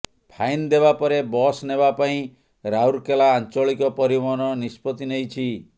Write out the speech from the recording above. fine ଦେବା ପରେ bus ନେବା ପାଇଁ ରାଉରକେଲା ଆଞ୍ଚଳିକ ପରିବହନ ନିଷ୍ପତ୍ତି ନେଇଛି